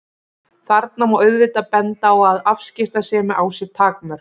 Þarna má auðvitað benda á að afskiptasemi á sér takmörk.